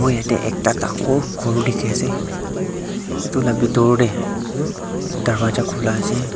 yete ekta tangor kor tiki ase etu la bitor dae darvaza kula ase.